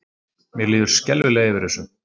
Mér líður skelfilega yfir þessu.